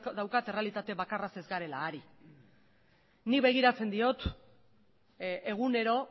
daukat errealitate bakarraz ez garela ari nik begiratzen diot egunero